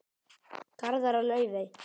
Garðar og Laufey.